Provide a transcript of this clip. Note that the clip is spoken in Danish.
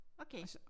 Okay